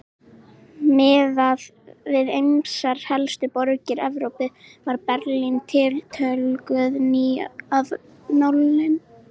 Miðað við ýmsar helstu borgir Evrópu var Berlín tiltölulega ný af nálinni.